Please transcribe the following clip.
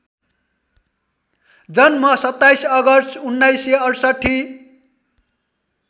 जन्म २७ अगस्ट १९६८